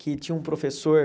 que tinha um professor.